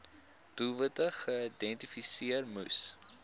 doelwitte geïdentifiseer moes